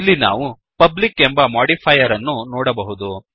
ಇಲ್ಲಿ ನಾವು ಪಬ್ಲಿಕ್ ಎಂಬ ಮಾಡಿಫೈಯರ್ ಅನ್ನು ನೋಡಬಹುದು